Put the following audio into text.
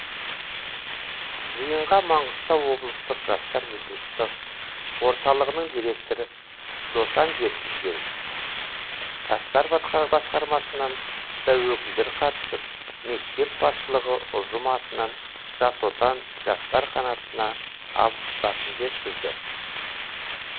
жиынға маңғыстау облыстық жастар ресурстық орталығының директоры досан жеткізген жастар басқармасынан да өкілдер қатысып мектеп басшылығы ұжым атынан жас отан жастар қанатына алғыстарын жеткізді